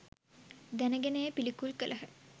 දැන ගෙන එය පිළිකුල් කළහ